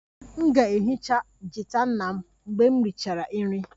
M ga-ehicha gita nna mgbe m richara nri